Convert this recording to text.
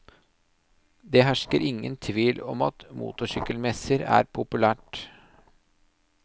Det hersker ingen tvil om at motorsykkelmesser er populært.